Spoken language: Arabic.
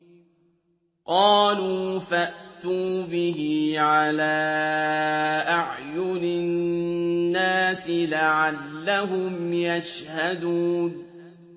قَالُوا فَأْتُوا بِهِ عَلَىٰ أَعْيُنِ النَّاسِ لَعَلَّهُمْ يَشْهَدُونَ